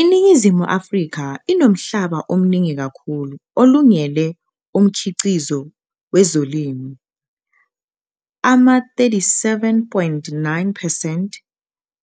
INingizimu Afrika inomhlaba omningi kakhulu olungele umkhiqizo wezolimo, ama-37.9 percent